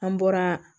An bɔra